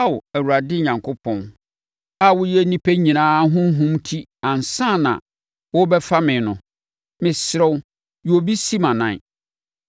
“Ao Awurade, Onyankopɔn a woyɛ nnipa nyinaa honhom ti ansa na worebɛfa me no, mesrɛ, yi obi si mʼanan